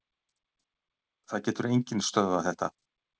Það getur enginn stöðvað þetta